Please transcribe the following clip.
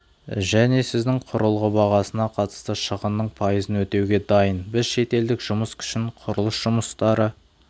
және сіздің құрылғы бағасына қатысты шығынның пайызын өтеуге дайын біз шетелдік жұмыс күшін құрылыс жұмыстары